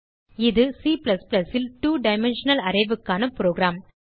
இது C ல் 2 dimensional arraysக்கான புரோகிராம்